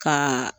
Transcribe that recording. Ka